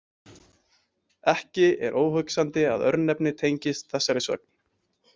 Ekki er óhugsandi að örnefnið tengist þessari sögn.